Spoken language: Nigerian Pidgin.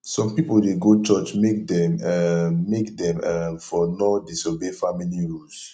some pipol dey go church make dem um make dem um for no disobey family rules